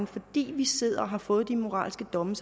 fordi de sidder og har fået de moralske domme